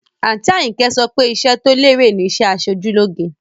Àǹtí Àyìnkẹ́ so pé iṣẹ́ tó lérè ni iṣẹ́ aṣojú lóge